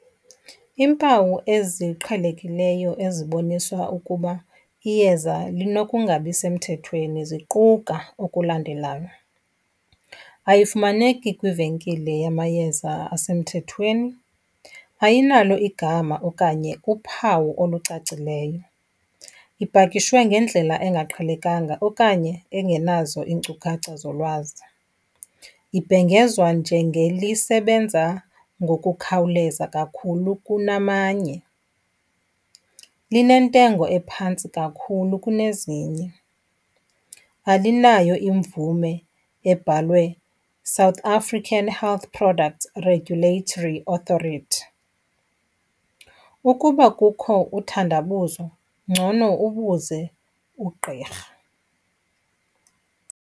Iimpawu eziqhelekileyo eziboniswa ukuba iyeza linokungabi semthethweni ziquka okulandelayo. Ayifumaneki kwivenkile yamayeza asemthethweni, ayinalo igama okanye uphawu olucacileyo, ipakishwe ngendlela engaqhelekanga okanye engenazo iinkcukacha zolwazi, ibhengezwa njengelisebenza ngokukhawuleza kakhulu kunamanye. Linentengo ephantsi kakhulu kunezinye, alinayo imvume ebhalwe South African Health Products Regulatory Authority. Ukuba kukho uthandabuzo ngcono ubuze ugqirha.